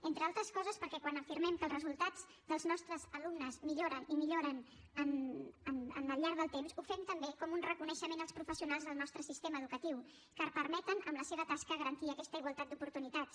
entre altres coses perquè quan afirmem que els resultats dels nostres alumnes milloren i milloren al llarg del temps ho fem també com un reconeixement als professionals del nostre sistema educatiu que permeten amb la seva tasca garantir aquesta igualtat d’oportunitats